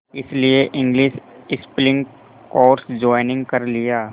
इसलिए English speaking course join कर लिया